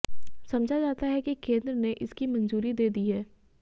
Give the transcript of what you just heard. समझा जाता है कि केंद्र ने इसकी मंजूरी दे दी है